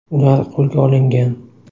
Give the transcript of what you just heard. Ular qo‘lga olingan.